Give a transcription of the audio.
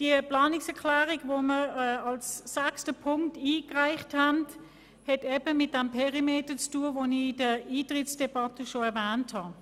Die Planungserklärung 6 hat mit dem Perimeter zu tun, welchen ich in der Eintretensdebatte erwähnt habe.